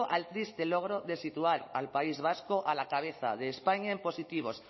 al triste logro de situar al país vasco a la cabeza de españa en positivos